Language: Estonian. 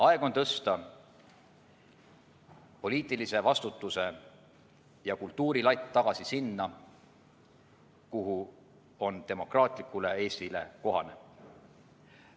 Aeg on tõsta poliitilise vastutuse ja kultuuri latt tagasi sinna, kuhu on demokraatlikule Eestile kohane.